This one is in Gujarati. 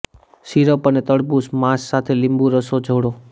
સીરપ અને તડબૂચ માંસ સાથે લીંબુ રસો જોડો